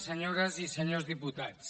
senyores i senyors diputats